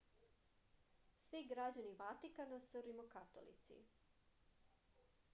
svi građani vatikana su rimokatolici